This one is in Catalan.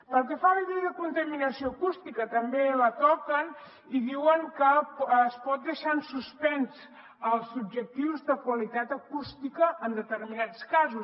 pel que fa a la llei de contaminació acústica també la toquen i diuen que es poden deixar en suspens els objectius de qualitat acústica en determinats casos